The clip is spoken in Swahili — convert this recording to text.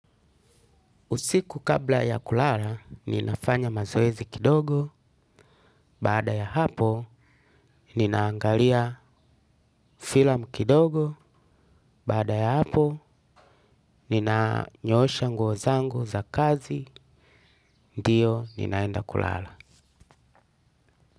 Usiku kabla ya kulala, ninafanya mazoezi kidogo, baada ya hapo, ninaangalia filamu kidogo, baada ya hapo, nina nyoosha nguozangu za kazi, ndio ninaenda kulala.